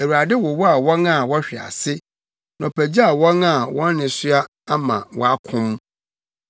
Awurade wowaw wɔn a wɔhwe ase na ɔpagyaw wɔn a wɔn nnesoa ama wɔakom.